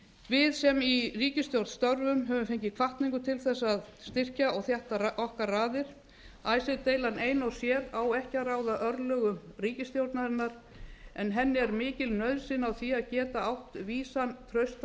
við sem í ríkisstjórn störfum höfum fengið hvatningu til þess að styrkja og þétta okkar raðir icesave deilan ein og sér á ekki að ráða örlögum ríkisstjórnarinnar en henni er mikil nauðsyn á því að geta átt vísan traustan